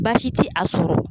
Baasi tɛ a sɔrɔ